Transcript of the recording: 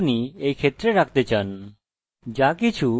যাকিছু যা এতে হবে এই ডাটা টাইপে যোগ করা আবশ্যক